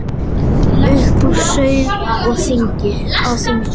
Upp úr sauð á þingi